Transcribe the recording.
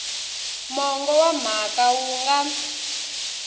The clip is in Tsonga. mongo wa mhaka wu nga